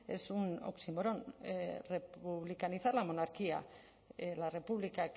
es un oxímoron republicanizar la monarquía la república